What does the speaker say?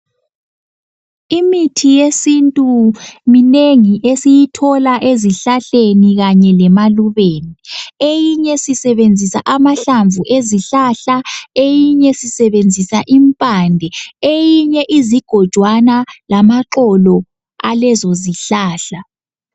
Imithi yesintu minengi esiyithola ezihlahleni kanye lemalubeni. Eyinye sisebenzisa amahlamvu ezihlahla , eyinye sisebenzisa impande , eyinye izigojwana lamaxolo alezo zihlahla.